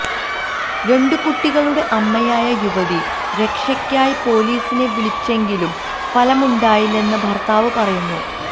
രണ്ടു കുട്ടികളുടെ അമ്മയായ യുവതി രക്ഷയ്ക്കായി പോലീസിനെ വിളിച്ചെങ്കിലും ഫലമുണ്ടായില്ലെന്ന് ഭര്ത്താവ് പറയുന്നു